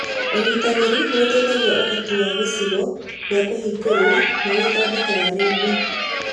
Ũnyitanĩri nĩ ũteithagĩrĩria ũhoti na gĩcigo gĩa kũhingũrwo nĩ ithondeka rĩngĩ